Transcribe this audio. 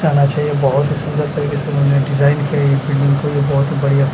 जाना चाहिए बहोत ही सुंदर तरीके से इन्होंनें डिजाइन किया है ये बहोत ही बढ़िया--